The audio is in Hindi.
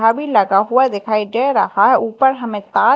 अभी लगा हुआ दिखाई दे रहा है ऊपर हमें तार--